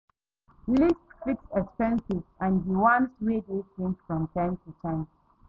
List fixed expenses and di ones wey dey change from time to time